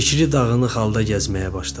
Fikri dağınıq halda gəzməyə başladı.